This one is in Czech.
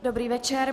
Dobrý večer.